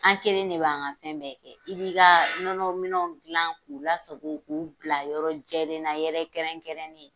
An kɛlen de b'an ka fɛn bɛɛ kɛ. I bi ka nɔnɔ minɛw dilan k'u lasago k'u bila yɔrɔ jɛlen na yɔrɔ kɛrɛnkɛrɛnnen